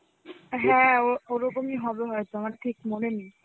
হ্যাঁ ও~ ওরকমই হবে হয়তো. আমার ঠিক মনে নেই.